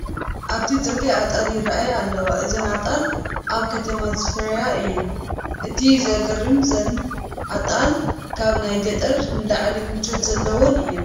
ኣብቲ ፅርጊያ ኣጣል ይርአያ ኣለዋ፡፡ እዘን ኣጣል ኣብ ከተማ ዝፋረያ እየን፡፡ እቲ ዘግርም እዘን ኣጣል ካብ ናይ ገጠር ንላዕሊ ምቾት ዘለወን እየን፡፡